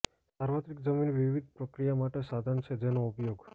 સાર્વત્રિક જમીન વિવિધ પ્રક્રિયા માટે સાધન છે જેનો ઉપયોગ